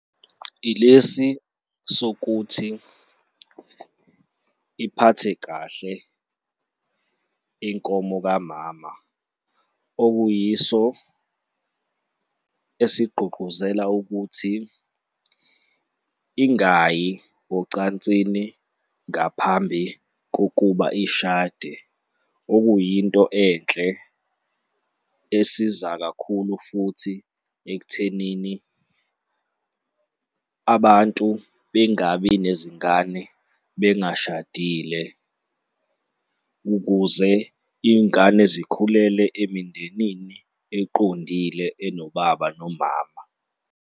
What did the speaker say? Ilesi sokuthi iphathe kahle inkomo kamama, okuyiso esigqugquzela ukuthi ingayi ocansini ngaphambi kokuba ishade, okuyinto enhle esiza kakhulu futhi ekuthenini abantu bengabi nezingane bengashadile ukuze iy'ngane zikhulele emindenini eqondile enobaba nomama.